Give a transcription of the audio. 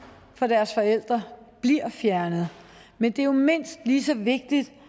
fra deres forældre bliver fjernet men det er jo mindst lige så vigtigt at